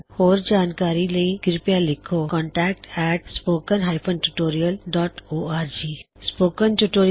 ਹੋਰ ਜਾਣਕਾਰੀ ਲਈ ਕਿਰਪਿਆ ਲਿਖੋ contactspoken tutorialਓਰਗ spoken tutorial project talk to a teacher project ਦਾ ਇਕ ਹਿੱਸਾ ਹੈ